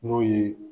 N'o ye